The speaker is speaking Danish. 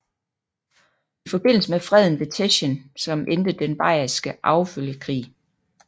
I forbindelse med freden ved Teschen som endte den Bayerske arvefølgekrig